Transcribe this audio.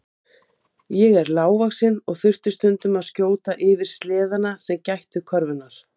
Fjölgun rauðkorna leiðir til aukinnar flutningsgetu súrefnis og súrefnismagn blóðs hækkar á ný.